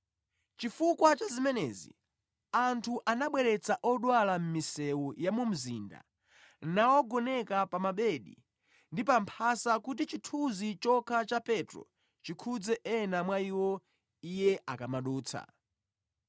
Chifukwa cha zimenezi, anthu anabweretsa odwala mʼmisewu ya mu mzinda nawagoneka pa mabedi ndi pa mphasa kuti chithunzi chokha cha Petro chikhudze ena mwa iwo iye akamadutsa.